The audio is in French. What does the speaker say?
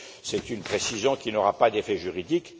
C'est une précision qui n'aura pas d'effet juridique.